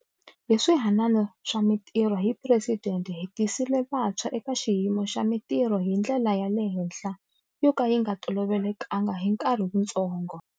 Hi Swihanano swa Mitirho hi Presidente hi tisile vantshwa eka xiyimo xa mitirho hi ndlela ya le henhla yo ka yi nga tolovelekanga hi nkarhi wutsongo.